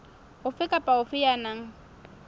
ofe kapa ofe ya nang